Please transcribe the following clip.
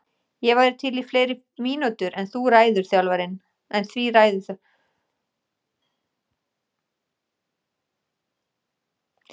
Ég væri til í fleiri mínútur en því ræður þjálfarinn.